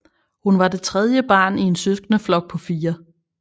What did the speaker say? Hun var det tredje barn i en søskendeflok på fire